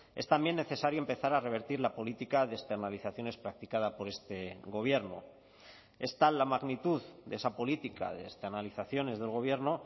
es también necesario empezar a revertir la política de externalizaciones practicada por este gobierno es tal la magnitud de esa política de externalizaciones del gobierno